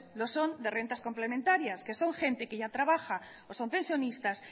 lo son de rentas complementarias que son gente que ya trabaja o son pensionistas